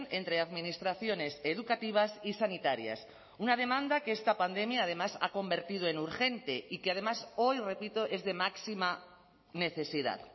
entre administraciones educativas y sanitarias una demanda que esta pandemia además ha convertido en urgente y que además hoy repito es de máxima necesidad